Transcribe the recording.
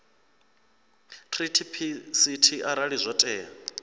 treaty pct arali zwo tea